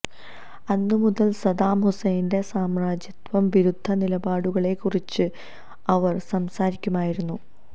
അന്നു മുതൽ സദ്ദാം ഹുസ്സൈന്റെ സാമ്രാജ്യത്വ വിരുദ്ധ നിലപാടുകളെക്കുറിച്ച് അവർ സംസാരിക്കുമായിരുന്നു